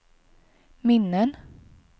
minnen